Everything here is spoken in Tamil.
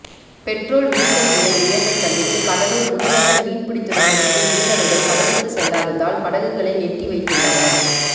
பெட்ரோல் டீசல் விலை உயர்வைக் கண்டித்து கடலூர் முதுநகர் மீன்பிடி துறைமுகத்தில் மீனவர்கள் கடலுக்கு செல்லாததால் படகுகளை நெட்டி வைத்துள்ளனர்